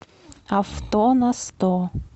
авто на сто